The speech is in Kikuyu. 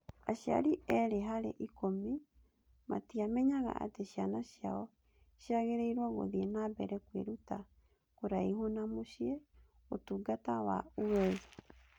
Aciari erĩ harĩ ikũmi matiamenyaga atĩ ciana ciao ciagĩrĩirũo gũthiĩ na mbere kwĩruta kũraihu na mũciĩ - Ũtungata wa UWEZO.